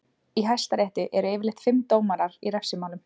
Í hæstarétti eru yfirleitt fimm dómarar í refsimálum.